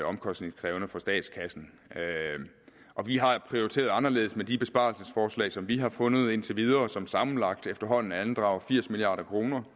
omkostningskrævende for statskassen og vi har prioriteret anderledes med de besparelsesforslag som vi har fundet indtil videre og som sammenlagt efterhånden andrager firs milliard